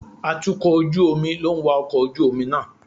Atukọ̀ ojú omi ló ń wa ọkọ̀ ojú omi náà.